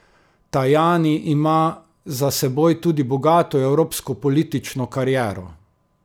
Tajani ima za seboj tudi bogato evropsko politično kariero.